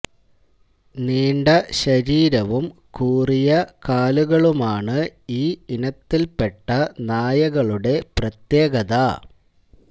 നീണ്ട ശരീരവും കുറിയ കാലുകളുമാണ് ഈ ഇനത്തില്പ്പെട്ട നായകളുടെ പ്രത്യേകത